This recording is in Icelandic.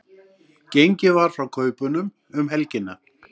Gengið var frá kaupunum um helgina